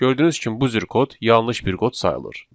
Gördüyünüz kimi bu cür kod yanlış bir kod sayılır.